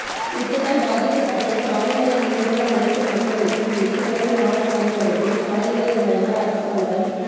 யுத்தத்தால் பாதிக்கப்பட்டு காணிகளை இழந்துள்ள அனைத்து மக்களுக்கும் எதிர்வரும் ஆறு மாதங்களுக்குள் காணிகளை வழங்க அரசாங்கம்